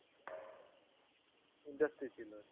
industry ছিল আরকি।